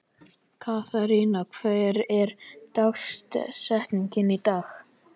Katharina, hver er dagsetningin í dag?